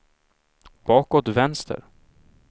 bakåt vänster